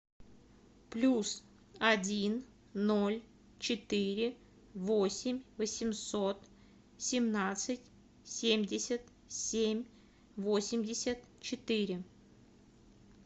плюс один ноль четыре восемь восемьсот семнадцать семьдесят семь восемьдесят четыре